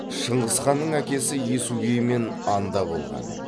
шыңғыс ханның әкесі есугеймен анда болған